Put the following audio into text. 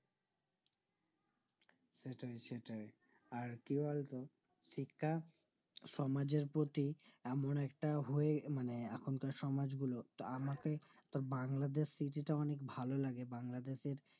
সেটাই সেটাই আর কি বলতো শিক্ষা সমাজের প্রতি এমন একটা হয়ে আহ এখন কার সমাজ গুলো তা আমাকে বাংলাদেশ থেকে তো অনেক ভালো লাগে বাংলাদেশের